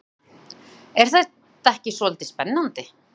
Sunna: Er það ekki svolítið spennandi?